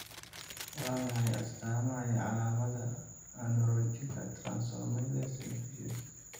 Waa maxay astaamaha iyo calaamadaha Ornithine transcarbamylase deficiency?